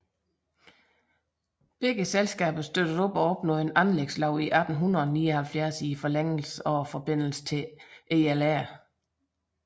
Begge selskabet støttede og opnåede en anlægslov i 1879 for forlængelsen og forbindelse til ELR